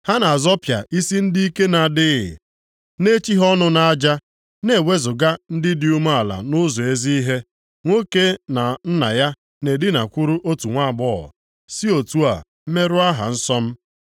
Ha na-azọpịa isi ndị ike na-adịghị, na-echi ha ọnụ nʼaja, na-ewezuga ndị dị umeala nʼụzọ ezi ihe. Nwoke na nna ya na-edinakwuru otu nwaagbọghọ, si otu a merụọ aha nsọ m.